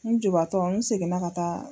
N jɔbaatɔ n segin na ka taa.